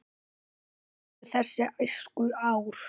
Svo liðu þessi æskuár.